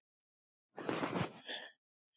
Að kyrja.